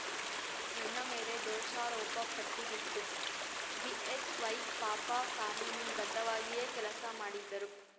ನನ್ನ ಮೇಲೆ ದೋಷಾರೋಪ ಪಟ್ಟಿಬಿತ್ತು ಬಿಎಸ್‌ವೈ ಪಾಪ ಕಾನೂನು ಬದ್ಧವಾಗಿಯೇ ಕೆಲಸ ಮಾಡಿದ್ದರು